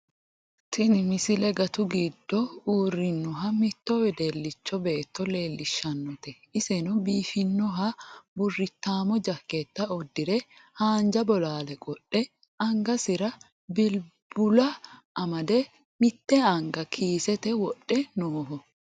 tini misile gatu giddo uurrinoha mitto wedellicha beetto leellishshannote isino biifannoha burrittaammo jakkeetta uddire haanja bolaale qodhe angasira bilbula made mitte anga kiisete wodhe nooho